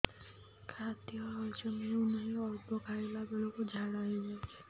ଖାଦ୍ୟ ହଜମ ହେଉ ନାହିଁ ଅଳ୍ପ ଖାଇଲା ବେଳକୁ ଝାଡ଼ା ହୋଇଯାଉଛି